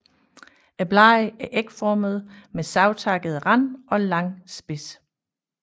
Bladene er ægformede med savtakket rand og lang spids